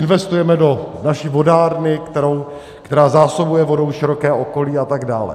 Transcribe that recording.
Investujeme do naší vodárny, která zásobuje vodou široké okolí, a tak dále.